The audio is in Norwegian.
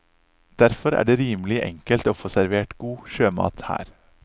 Derfor er det rimelig enkelt å få servert god sjømat her.